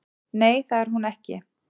Nei, það er hún ekki